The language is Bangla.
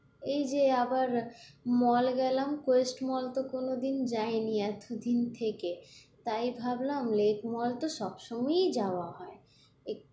এই যে আবার mall গেলাম কোয়েস্ট mall তো কোন দিন যাইনি এতদিন থেকে, তাই ভাবলাম লেক mall তো সবসময়ই যাওয়া হয়,